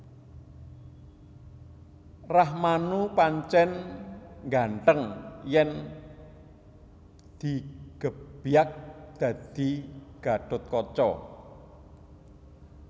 Rakhmanu pancèn nggantheng yèn digebyag dadi Gatthutkaca